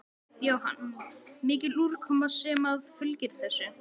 Jóhann: Mikil úrkoma sem að fylgir þessu?